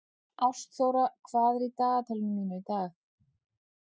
Ástþóra, hvað er í dagatalinu mínu í dag?